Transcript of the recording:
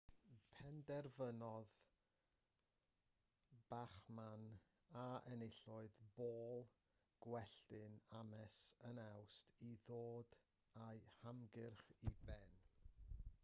penderfynodd bachmann a enillodd bôl gwelltyn ames yn awst i ddod â'i hymgyrch i ben